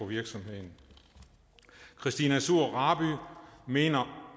virksomheden christina suhr raby mener